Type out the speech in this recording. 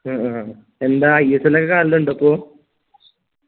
എന്താ ISL ലോക്കെ കാണലിണ്ടോ പ്പൊ